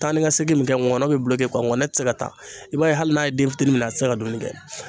Taa ni ka segin min kɛ ngɔnɔ bɛ ngɔnɔ tɛ se ka taa , i b'a ye hali n'a ye den fitini minɛ, a tɛ se ka dumuni kɛ.